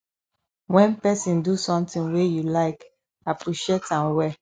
when person do something wey you like appreciate am well